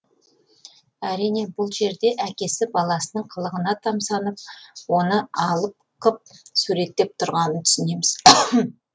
әрине бұл жерде әкесі баласының қылығына тамсанып оны алып қып суреттеп тұрғанын түсінеміз